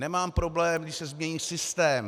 Nemám problém, když se změní systém.